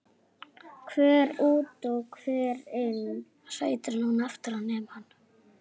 Hver út og hver inn?